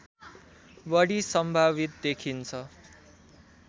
बढी सम्भावित देखिन्छ